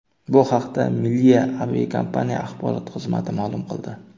Bu haqda Milliya aviakompaniya axborot xizmati ma’lum qildi .